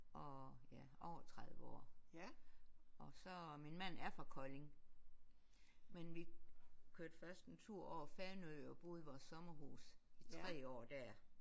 Og ja over 30 år og så min mand er fra Kolding men vi kørte først en tur over Fanø og boede i vores sommerhus i 3 år der